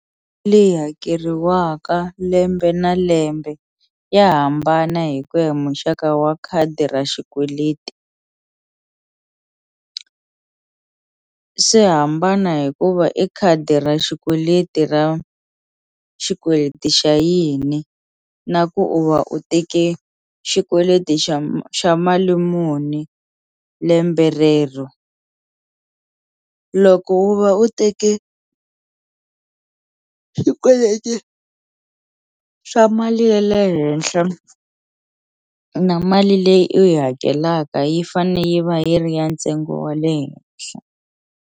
Leyi hakeriwaka lembe na lembe ya hambana hi ku ya hi muxaka wa khadi ra xikweleti swi hambana hikuva i khadi ra xikweleti ra xikweleti xa yini na ku u va u teke xikweleti xa xa mali muni lembe rero loko u va u teke u swikweleti swa mali ye le henhle na mali leyi u yi hakelaka yi fane yi va yi ri ya ntsengo wa le henhle.